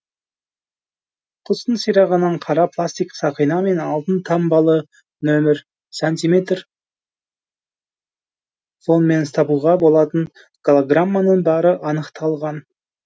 құстың сирағынан қара пластик сақина мен алтын таңбалы нөмір сантиметрартфонмен табуға болатын голограмманың бары анықталған